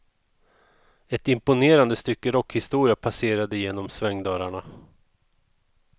Ett imponerande stycke rockhistoria passerade genom svängdörrarna.